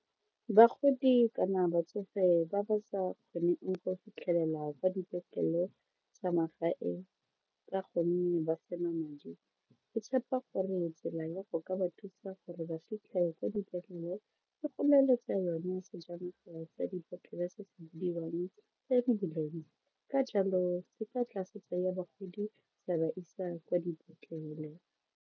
Bagodi kana batsofe ba ba sa kgoneng go fitlhelela kwa dipetlele tsa magae ka gonne ba se na madi ke tshepa gore tsela ya go ka ba thusa gore ba fitlhe kwa dipetlele le go leletsa yone sejanaga tsa dipetlele se se bidiwang ambulance, ka jalo se ka tla se tsaya bagodi sa ba isa kwa dipetlele.